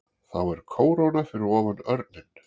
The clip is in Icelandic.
Þá er kóróna fyrir ofan örninn.